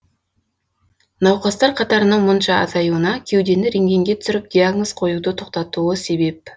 науқастар қатарының мұнша азаюына кеудені рентгенге түсіріп диагноз қоюды тоқтатуы себеп